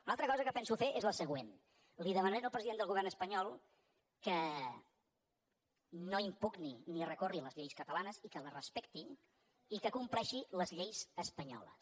una altra cosa que penso fer és la següent li demanaré al president del govern espanyol que no impugni ni recorri contra les lleis catalanes i que les respecti i que compleixi les lleis espanyoles